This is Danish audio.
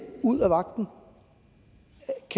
ud